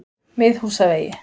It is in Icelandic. Miðhúsavegi